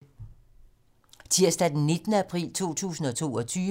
Tirsdag d. 19. april 2022